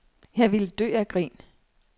Jeg ville dø af grin.